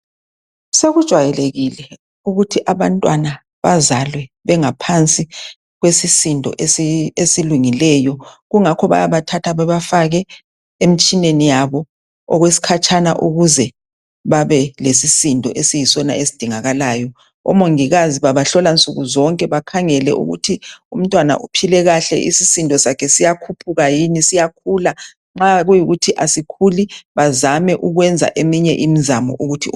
Sokujwayelekile ukuthi abantwana bazalwe bengaphansi kwesisindo esilungileyo kungakho bayabathatha babafake emtshineni yabo okwesikhatshana ukuze babe lesisindo esiyisona esidingakalayo. Omongikazi babahlola nsukuzonke, bakhangele ukuthi umntwana uphile kahle isisndo sakhe siyakhuphuka yini siyakhula nxa kuyikuthi asikhuli bazame ukwenza eminye imizamo.